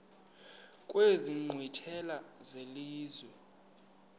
kwezi nkqwithela zelizwe